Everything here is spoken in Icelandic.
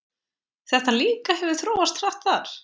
Þetta líka hefur þróast hratt þar?